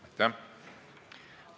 Aitäh!